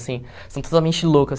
Assim, são totalmente loucas.